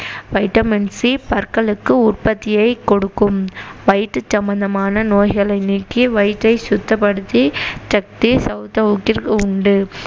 vitamin C பற்களுக்கு உற்பத்தியைக் கொடுக்கும் வயிற்றுச் சம்மந்தமான நோய்களை நீக்கி வயிற்றை சுத்தப்படுத்தி சக்தி சௌசௌகிற்கு உண்டு